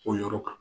O yɔrɔ kan